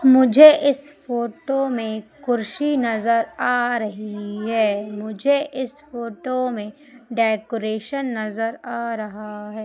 मुझे इस फोटो में कुर्सी नजर आ रही है मुझे इस फोटो में डेकोरेशन नजर आ रहा है।